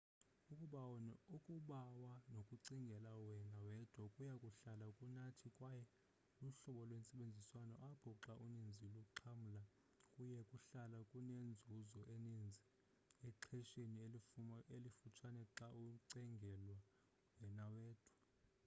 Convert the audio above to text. ukubawa nokucingela wena wedwa kuya kuhlala kunathi kwaye luhlobo lwentsebenziswano apho xa uninzi luxhamla kuya kuhlala kunenzuzo eninzi exhesheni elifutshane xa ucingela wena wedwa